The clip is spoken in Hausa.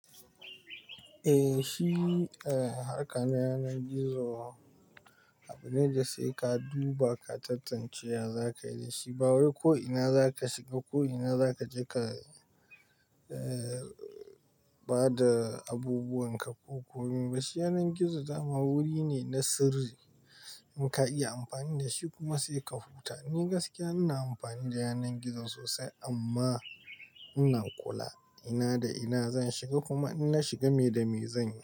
Eh shi, eh harka ne yanar gizo. Abu ne da sai ka duba ka tattance za ka yi da shi. Ba wai ko ina za ka shiga ko ina za ka je ka, eh ba da abubuwan ka ko komi ba. Shi yanar gizo dama wuri ne na sirri, in ka iya amfani da shi kuma sai ka huta. Ni gaskiya ina amfani da yanar gizo sosai amma ina kula. Ina da ina zan shiga kuma in na shiga me da me zanyi.